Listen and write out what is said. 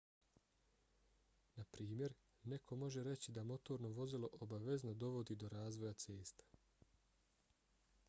naprimjer neko može reći da motorno vozilo obavezno dovodi do razvoja cesta